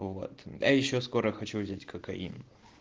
вот а ещё скоро хочу взять кокаин